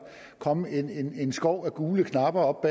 komme en en skov af gule knapper op